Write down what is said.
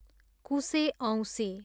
कुसे औँसी